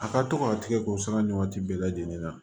A ka to ka tigɛ ko sara ni waati bɛɛ lajɛlen na